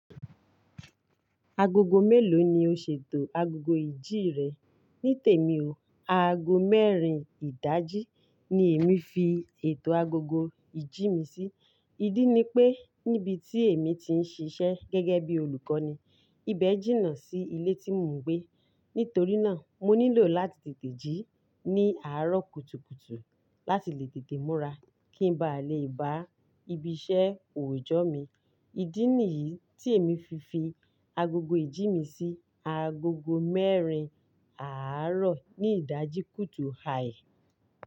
Agogo mélòó ni o ṣètò agogo ìjí rẹ? Ní tèmi o, aago mẹ́rin ìdají ni èmi fi ètò agogo ìjí mi sí. Ìdí ni pé níbi tí èmi ti ń ṣiṣẹ́ gẹ́gẹ́ bí olùkọ́ ni, ibẹ̀ jìnnà sí ilé tí mò ń gbé. Nítorí náà, mo nílò láti tètè jí ní àárọ̀ kùtùkùtù láti lè tètè múra kí ń ba lè bá ibi iṣẹ́ òòjọ́ mi. Ìdí nìyí tí èmi fi fi agogo ìjí mi sí agogo mẹ́rin àárọ̀ ní ìdají kùtù hàì.